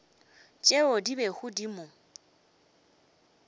tšeo di bego di mo